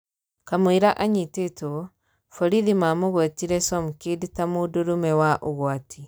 Kamwira anyititwo, borithi mamũgũetire Somkid taa 'Mũndũrũme wa ugwati".